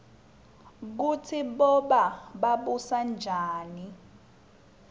kutsi boba babusanjani